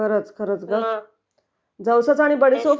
खरचं की...जवसाचं आणि बडीशेपचा